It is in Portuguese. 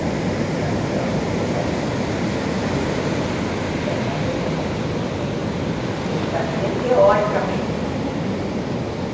nenhuma contração, isso aí é ter filho, grande coisa, né, é, mas depois a coisa é diferente, eu sabia teoricamente tudo, tudo, tudo, tudo.